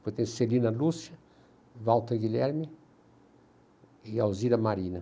Depois tem Celina Lúcia, Walter Guilherme e Alzira Marina.